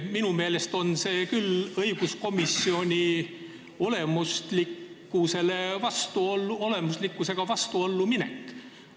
Minu meelest on see küll õiguskomisjoni olemusega vastuollu minek.